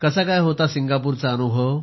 कसा होता सिंगापूरचा अनुभव